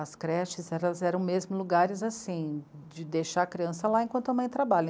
As creches elas eram mesmo lugares assim, de deixar a criança lá enquanto a mãe trabalha.